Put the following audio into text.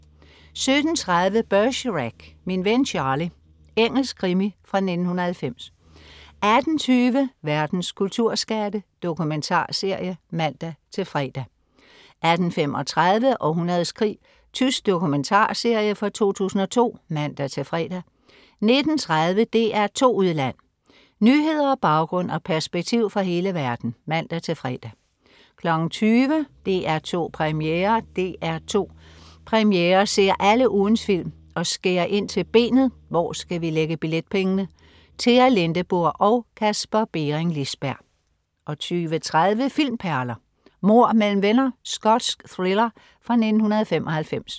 17.30 Bergerac: Min ven Charlie. Engelsk krimi fra 1990 18.20 Verdens kulturskatte. Dokumentarserie (man-fre) 18.35 Århundredets krig. Tysk dokumentarserie fra 2002 (man-fre) 19.30 DR2 Udland. Nyheder, baggrund og perspektiv fra hele verden (man-fre) 20.00 DR2 Premiere DR2 Premiere ser alle ugens film og skærer ind til benet: hvor skal vi lægge billetpengene? Tea Lindeburg og Kasper Bering Liisberg 20.30 Filmperler: Mord mellem venner. Skotsk thriller fra 1995